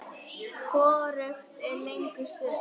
Hvorugt er lengur stutt.